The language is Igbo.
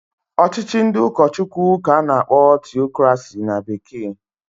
Ọchịchị ndị ụkọchụkwụ k'a na-akpọ Tiocrasi na bekee.